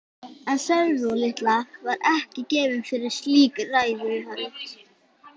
En Sólrún litla var ekki gefin fyrir slík ræðuhöld.